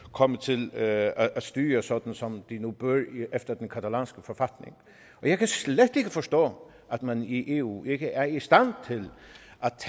komme til at styre sådan som de nu bør efter den catalanske forfatning jeg kan slet ikke forstå at man i eu ikke er i stand til